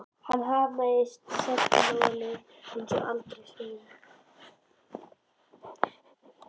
Hann hamaðist á sellóið sem aldrei fyrr.